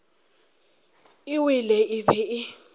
e wele e be e